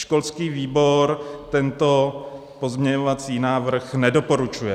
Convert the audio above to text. Školský výbor tento pozměňovací návrh nedoporučuje.